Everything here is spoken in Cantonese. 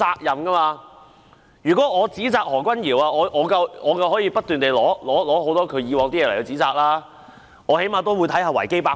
如果我想指責何君堯議員，我大可隨便翻他舊帳，但我最低限度會查閱維基百科。